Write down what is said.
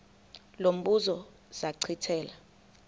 lo mbuzo zachithela